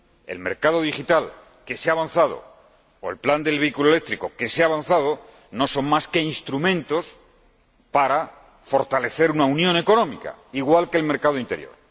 El mercado digital, en el que se ha avanzado, o el plan del vehículo eléctrico, en el que también se ha avanzado, no son más que instrumentos para fortalecer una unión económica, igual que el mercado interior.